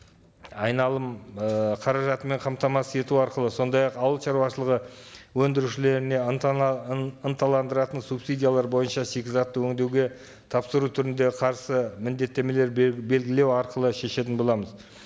айналым ыыы қаражатымен қамтамасыз ету арқылы сондай ақ ауыл шаруашылығы өндірушілеріне ынталандыратын субсидиялар бойынша шикізатты өндеуге тапсыру түрінде қарсы міндеттемелер белгілеу арқылы шешетін боламыз